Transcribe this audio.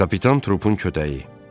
Kapitan Trupun kötəyi.